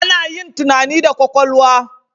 Ana yin tunani da kwakwalwa.